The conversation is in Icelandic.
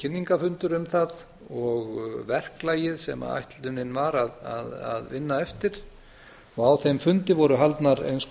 kynningarfundur um það og verklagið sem ætlunin var að vinna eftir á þeim fundi voru haldnar eins